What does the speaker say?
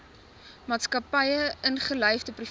maatskappye ingelyfde private